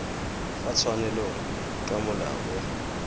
fa tshwanelong ka molao o